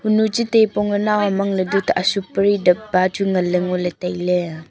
honu che tai pong ae naw am ang ley dhoot ashuk pari dapba chu nganley ngoley tailey.